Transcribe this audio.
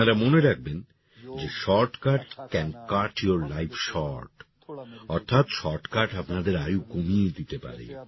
আপনারা মনে রাখবেন যে shortcut can cut your life short অর্থাৎ শর্টকাট আপনাদের আয়ু কমিয়ে দিতে পারে